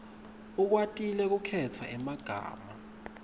ukwatile kukhetsa emagama